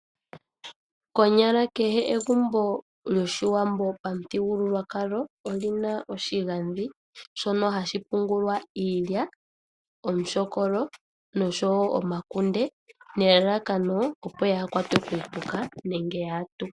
Konyala kehe egumbo lyoshiwambo pamuthigululwakalo. Olina oshigandhi shono hashi pungulwa iilya. Iilyaalyaaka nosho woo omakunde. Nelalakano opo yaakwatwe kuupuka nenge yaatukwe.